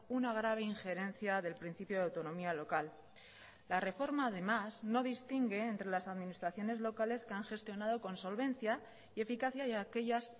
una grave injerencia del principio de autonomía local la reforma además no distingue entre las administraciones locales que han gestionado con solvencia y eficacia y aquellas